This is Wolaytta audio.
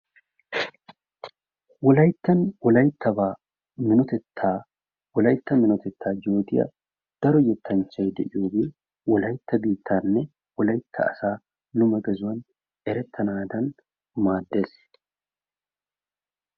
Wolayttan Wolayttaba minotetta, Wolaytta minotetta yoottiya daro yettanchchay de'iyooge Wolaytta biittaanne Wolaytta asaa lume gaazuwan erettanadan maaddees.